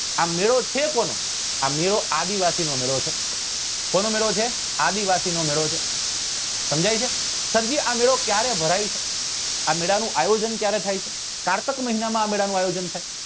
આ મેળો છે કોનો આ મેળો આદિવાસી નો મેળો છે કોનો મેળો છે આદિવાસી નો મેળો છે સમજાય છે સર જી આ મેળો ક્યારે ભરાય છે આ મેળા નું આયોજન ક્યારે થાય છે કારતક મહિના માં આ મેળા નું આયોજન થાય છે